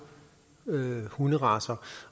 hunderacer